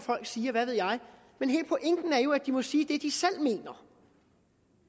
sige og hvad ved jeg men hele pointen er jo at de må sige det de selv mener